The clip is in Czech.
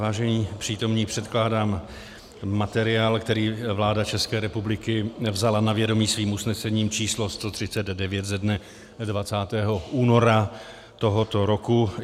Vážený přítomní, předkládám materiál, který vláda České republiky vzala na vědomí svým usnesením číslo 139 ze dne 20. února tohoto roku.